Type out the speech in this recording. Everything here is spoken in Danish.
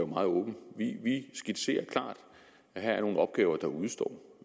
meget åben vi skitserer klart at her er nogle opgaver der udestår